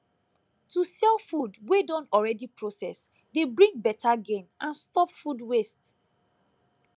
to sell food wey don already process dey bring better gain and stop food waste